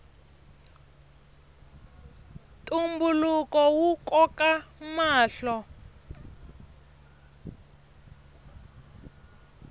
ntumbuluko wu koka mahlo